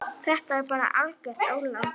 Þetta er bara algert ólán.